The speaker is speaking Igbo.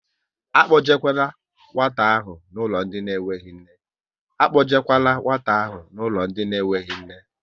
Akpojekwala nwata ahụ n'ụlọ ndị nweghị nne!